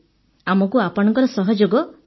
ଆମକୁ ଆପଣଙ୍କ ସହଯୋଗ ଦରକାର